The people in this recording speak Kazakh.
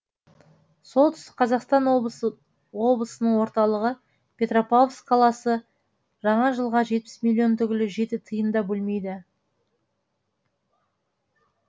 солтүстік қазақстан облысының орталығы петропавловск қаласы жаңа жылға жетпіс миллион түгілі жеті тиын да бөлмейді